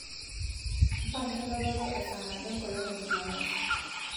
mpanga enototo e saa nabo enkolong e jumamosi